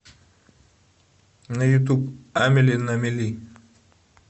на ютуб амели на мели